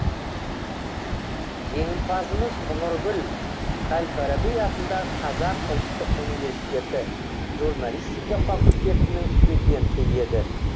жеңімпазымыз нұргүл әл фараби атындағы қазақ ұлттық университеті журналистика факультетінің студенті еді